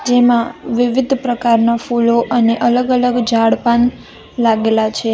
જેમાં વિવિધ પ્રકારના ફૂલો અને અલગ અલગ ઝાડ-પાન લાગેલા છે.